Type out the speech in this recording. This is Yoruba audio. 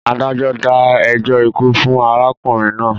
Adájọ́ dá ẹjọ́ ikú fún arákùnrin náà.